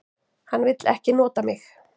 Hann vill ekki nota mig.